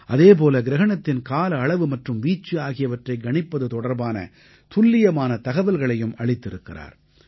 அதேபோல கிரஹணத்தின் கால அளவு மற்றும் வீச்சு ஆகியவற்றைக் கணிப்பது தொடர்பான துல்லியமான தகவல்களையும் அளித்திருக்கிறார்